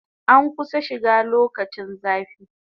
An kusan shiga lokacin zafi